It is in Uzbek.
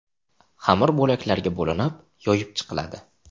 Xamir bo‘laklarga bo‘linib, yoyib chiqiladi.